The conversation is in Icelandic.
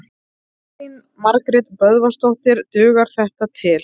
Elín Margrét Böðvarsdóttir: Dugar þetta til?